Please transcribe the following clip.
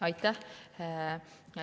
Aitäh!